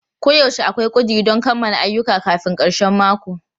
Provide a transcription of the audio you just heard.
Koyaushe akwai ƙuduri don kammala ayyuka kafin karshen mako.